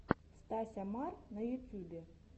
стася мар на ютюбе